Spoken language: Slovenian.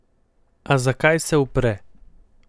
A zakaj se upre?